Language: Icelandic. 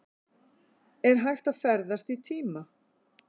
Er hægt að ferðast í tíma?